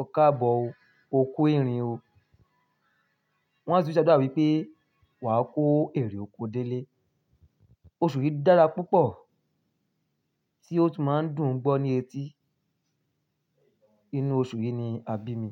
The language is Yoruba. "ọ́ káàbọ̀ o, o kú ìrìn o". Wọn á sì tún ṣàdúà wípé, "wà á kó èrè oko délé". Oṣù yìí dára púpọ̀ tí ó tún máa ń dùn gbọ́ ní etí. Inú oṣù yìí ni a bí mi.